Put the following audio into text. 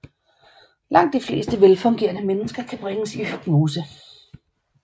Langt de fleste velfungerende mennesker kan bringes i hypnose